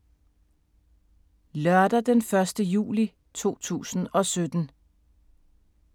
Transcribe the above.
Lørdag d. 1. juli 2017